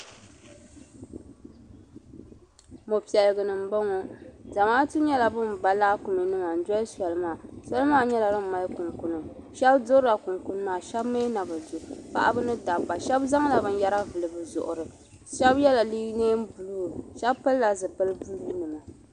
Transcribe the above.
mopiɛlliguni m bo ŋɔ zamaatu nyela ban ba laakunima n doli soli maa soli maa nyela din mali kunkuni shɛbi durila kunkuni maa shɛbi mi na bi du paɣa ni dabba shɛbi zaŋla binyara vuli bi zuɣuri shɛbi yela nɛɛn buluu shɛbi pili la zipili buluunima.